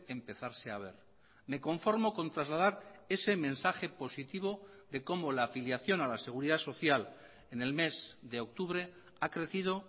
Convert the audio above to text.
empezarse a ver me conformo con trasladar ese mensaje positivo de cómo la afiliación a la seguridad social en el mes de octubre ha crecido